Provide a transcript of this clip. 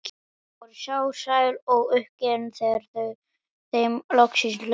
Þau voru sár, sæl og uppgefin þegar þeim loksins lauk.